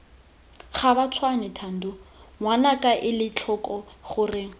gabatshwane thando ngwanaka elatlhoko gore